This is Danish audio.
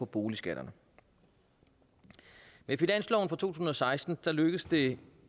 boligskatterne med finansloven for to tusind og seksten lykkedes det